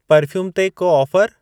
Perfume ते को offer?